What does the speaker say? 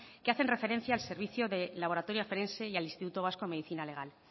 que hacen referencia al servicio de laboratorio forense y al instituto vasco de medicina legal